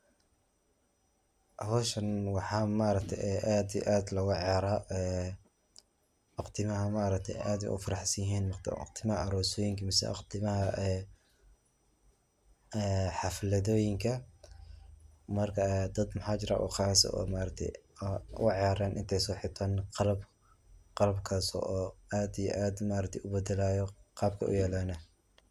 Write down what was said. Howshan waxaa aad iyo aad logaciyaara waqtiyadha maaragte aad ey ufaraxsanyihin waqtiyadha aroosoyinka mise waqtiyadha xafladooyinka marka dad maxajiraa uqas eh oo maaragte ciyaaran intey soxirtan qalab qalabkaso oo aad iyo aad ubadalayo qaabkey uyalan.